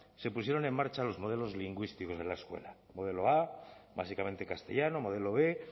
se pusieron en marcha los modelos lingüísticos de la escuela el modelo a básicamente castellano modelo b